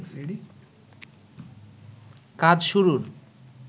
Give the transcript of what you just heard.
কাজ শুরুর